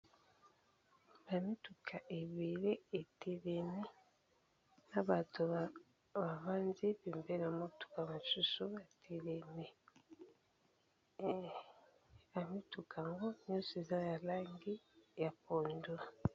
Ba mituka ébélé e telemi na batu ba vandi pembeni ya motuka mosusu e telemi. Ba mituka yango nyonso eza ya langi ya pondu .